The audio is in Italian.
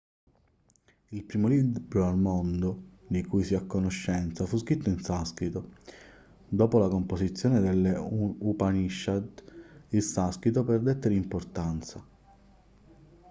il primo libro al mondo di cui si ha conoscenza fu scritto in sanscrito dopo la composizione delle upanishad il sanscrito perdette di importanza